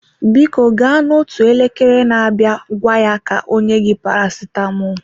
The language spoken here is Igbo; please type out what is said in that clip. Biko gaa n'otu elekere na-abịa gwa ya ka o nye gị paracetamol.